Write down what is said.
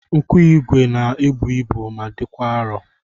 Nkụigwe na-ebu ibu ma dịkwa arụ